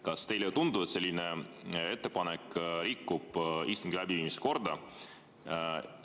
Kas teile ei tundu, et selline ettepanek rikub istungi läbiviimise korda?